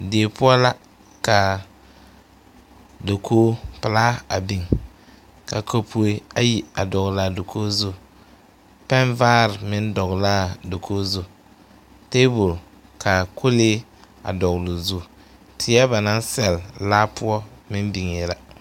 Die poɔ la ka dakogipelaa a biŋ ka kapue ayi a dɔgle a dakogi zu pɛnvaare meŋ dɔgle la a dakogi zu tabol ka kɔlee a dɔgle o zu teɛ ba naŋ sɛlle laa poɔ meŋ biŋee la.